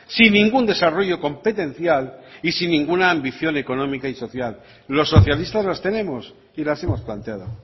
sin ningún desarrollo competencial y sin ninguna ambición económica y social los socialistas las tenemos y las hemos planteado